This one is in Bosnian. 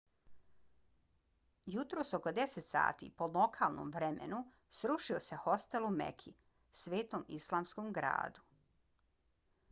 jutros oko 10 sati po lokalnom vremenu srušio se hostel u meki svetom islamskom gradu